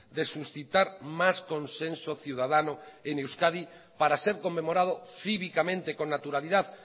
de suscitar más consenso ciudadano en euskadi para ser conmemorado cívicamente con naturalidad